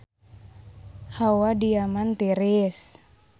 Hawa di Yaman tiris